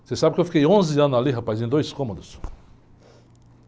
Você sabe que eu fiquei onze anos ali, rapaz? Em dois cômodos.